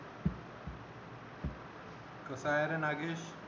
कसा आहे रे नागेश